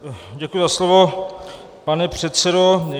Děkuji za slovo, pane předsedo.